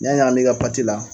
N'i y'a ɲagam'i ka pati la